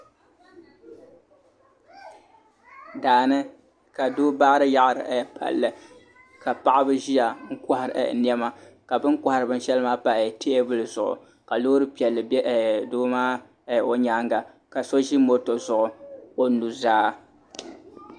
Daani ka doo baari yaɣari palli ka paɣaba ʒiya kohari niɛma ka bini kohari bin shɛli maa pa teebuli zuɣu ka Loori piɛlli bɛ doo maa nyaanga ka so ʒi moto zuɣu o nuzaa